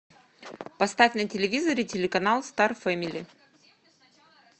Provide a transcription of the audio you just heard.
поставь на телевизоре телеканал стар фэмили